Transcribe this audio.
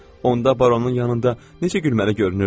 onda baronun yanında necə gülməli görünürdün.